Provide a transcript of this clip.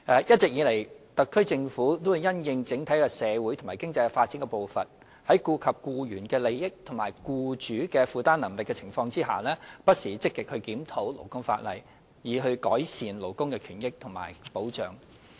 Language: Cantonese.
一直以來，特區政府因應整體社會及經濟發展的步伐，在顧及僱員利益與僱主負擔能力的情況下，不時積極檢討勞工法例，以改善勞工權益及保障。